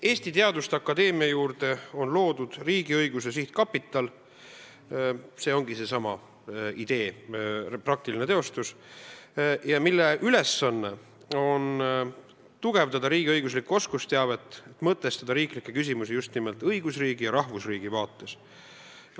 Eesti Teaduste Akadeemia juurde on loodud riigiõiguse sihtkapital – see ongi selle idee praktiline teostus –, mille ülesanne on tugevdada riigiõiguslikku oskusteavet, mõtestada riiklikke küsimusi just nimelt õigusriigi ja rahvusriigi vaates.